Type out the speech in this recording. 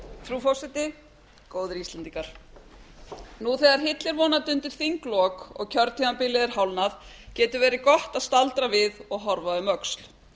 frú forseti góðir íslendingar nú þegar hillir vonandi undir þinglok og kjörtímabilið er hálfnað getur verið gott að staldra við og horfa um öxl